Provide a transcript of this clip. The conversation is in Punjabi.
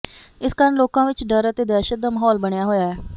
ਇਸ ਕਾਰਨ ਲੋਕਾਂ ਵਿਚ ਡਰ ਅਤੇ ਦਹਿਸ਼ਤ ਦਾ ਮਾਹੌਲ ਬਣਿਆ ਹੋਇਆ ਹੈ